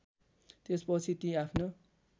त्यसपछि ती आफ्नो